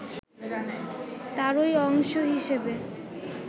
তারই অংশ হিসেবে